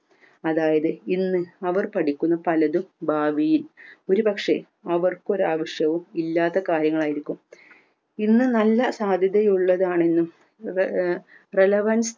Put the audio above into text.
അതായത് ഇന്ന് അവർ പഠിക്കുന്ന പലതും ഭാവിയിൽ ഒരു പക്ഷെ അവർക്ക് ഒരാവശ്യവും ഇല്ലാത്ത കാര്യങ്ങളായിരിക്കും ഇന്ന് നല്ല സാധ്യത ഉള്ളതാണെന്ന് ആഹ് relevance